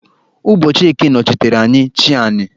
Ụbọchị eke nọchitere anya "chi anị"